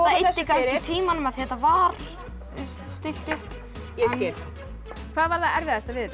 eyddi kannski tímanum af því þetta var stillt upp ég skil hvað var það erfiðasta við